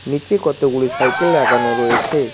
নীচে কতগুলি সাইকেল লাগানো রয়েছে।